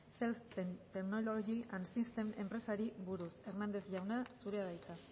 cel technologies and systems enpresari buruz hernández jauna zurea da hitza